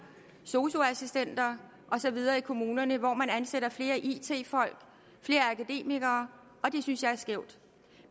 sosu assistenter og så videre i kommunerne hvor man ansætter flere it folk flere akademikere og det synes jeg er skævt